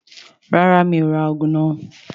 Rárá, mi ò rà òògùn náà